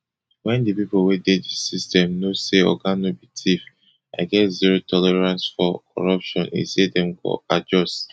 wen di pipo wey dey di system know say oga no be thief i get zero tolerance for corruption e say dem go adjust